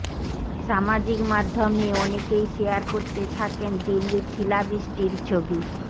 সামাজিক মাধ্যমে অনেকেই শেয়ার করতে থাকের দিল্লির শিলাবৃষ্টির ছবি